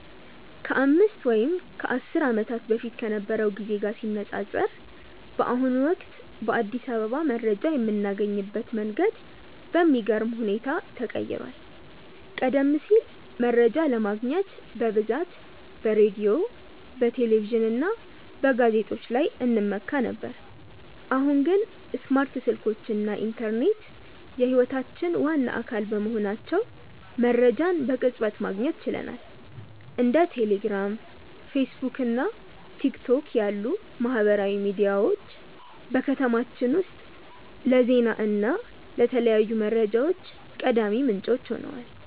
ከአምስት ወይም ከአስር ዓመታት በፊት ከነበረው ጊዜ ጋር ሲነፃፀር፣ በአሁኑ ወቅት በአዲስ አበባ መረጃ የምናገኝበት መንገድ በሚገርም ሁኔታ ተቀይሯል። ቀደም ሲል መረጃ ለማግኘት በብዛት በሬዲዮ፣ በቴሌቪዥን እና በጋዜጦች ላይ እንመካ ነበር፤ አሁን ግን ስማርት ስልኮች እና ኢንተርኔት የህይወታችን ዋና አካል በመሆናቸው መረጃን በቅጽበት ማግኘት ችለናል። እንደ ቴሌግራም፣ ፌስቡክ እና ቲክቶክ ያሉ ማህበራዊ ሚዲያዎች በከተማችን ውስጥ ለዜና እና ለተለያዩ መረጃዎች ቀዳሚ ምንጮች ሆነዋል።